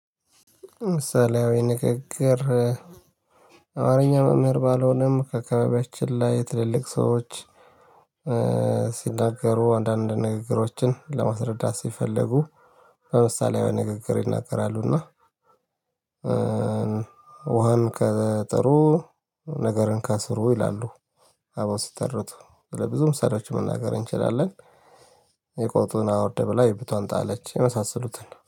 ለምሳሌአዊ የንግግር አማረኛ መምህር ባልሆነም ከአካባቢያችን ላይ ትልልቅ ሰዎች ሲናገሩ አንዳንድ ንግግሮችን ለመረዳት ሲፈልጉ በምሳሌአዊ አነጋገር ይናገራሉ። እና ውሃን ከጥሩ ነገርን ከስሩ ይላሉ። አበው ሲተርቱ ለብዙም ምሳሌዎች መናገር እንችላለን። የቆጡን አወርድ ብላ የብብቷን ጣለች የመሳሰሉትን